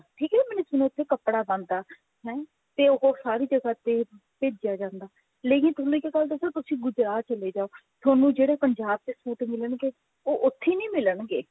ਠੀਕ ਨੀ ਜਿਵੇਂ ਉੱਥੇ ਕੱਪੜਾ ਬਣਦਾ ਹੈ ਤੇ ਉਹ ਸਾਰੀ ਜਗ੍ਹਾ ਤੇ ਭੇਜਿਆ ਜਾਂਦਾ ਲੇਕਿਨ ਤੁਹਾਨੂੰ ਇੱਕ ਗੱਲ ਦਸਾ ਤੁਸੀਂ ਗੁਜਰਾਤ ਚਲੇ ਜਾਓ ਤੁਹਾਨੂੰ ਜਿਹੜੇ ਪੰਜਾਬ ਚ suit ਮਿਲਣਗੇ ਉਹ ਉੱਥੇ ਨਹੀਂ ਮਿਲਣਗੇ